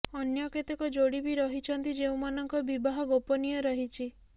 ଅନ୍ୟ କେତେକ ଯୋଡ଼ି ବି ରହିଛନ୍ତି ଯେଉଁମାନଙ୍କ ବିବାହ ଗୋପନୀୟ ରହିଛି